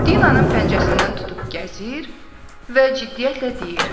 Dinanın pəncəsindən tutub gəzir və ciddiyyətlə deyir.